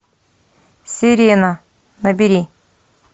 сирена набери